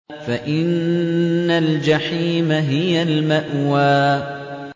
فَإِنَّ الْجَحِيمَ هِيَ الْمَأْوَىٰ